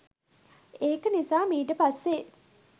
ඒක නිසා මීට පස්සේ